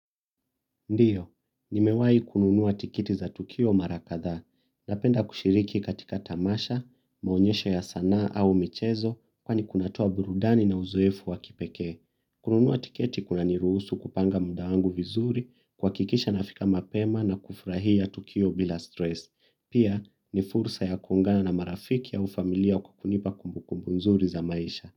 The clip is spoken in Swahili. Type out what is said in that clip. Ndio nimewai kununua tikiti za tukio mara kadhaa napenda kushiriki katika tamasha, maonyesho ya sanaa au michezo kwani kunatoa burudani na uzoefu wa kipekee. Kununua tiketi kuna niruhusu kupanga mda wangu vizuri, kuakikisha nafika mapema na kufurahia tukio bila stress. Pia ni fursa ya kuungana na marafiki au familia kwa kunipa kumbukumbu nzuri za maisha.